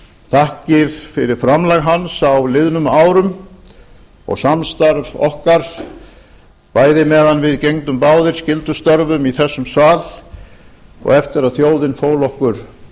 þakkir fyrir framlag hans á liðnum árum og samstarf okkar bæði meðan við gegndum báðir skyldustörfum í þessum sal og eftir að þjóðin fól okkur